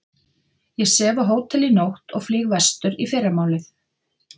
Ég sef á hóteli í nótt og flýg vestur í fyrramálið